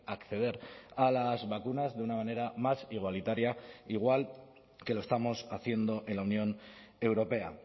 acceder a las vacunas de una manera más igualitaria igual que lo estamos haciendo en la unión europea